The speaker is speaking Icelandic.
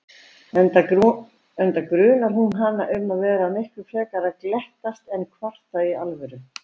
Enda grunar hún hana um að vera miklu frekar að glettast en kvarta í alvöru.